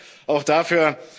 Vielen Dank auch dafür.